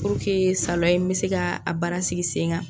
Purke salɔn in bɛ se ka a baara sigi sen kan.